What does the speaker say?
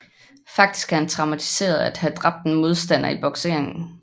Faktisk er han traumatiseret af at have dræbt en modstander i bokseringen